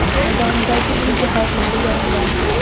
maydonidagi uy jihozlari yongan.